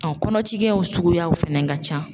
Ɔn kɔnɔ cikɛw suguyaw fɛnɛ ka ca.